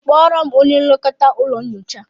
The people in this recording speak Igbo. Kpọrọ m onye nlekọta ụlọ nyocha